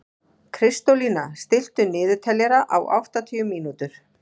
Kristólína, stilltu niðurteljara á áttatíu mínútur.